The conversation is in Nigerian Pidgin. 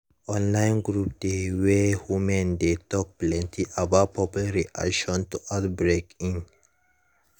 online group dey wey women dey talk plenty about public reaction to outbreak in